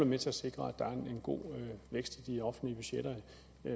med til at sikre at der er en god vækst i de offentlige budgetter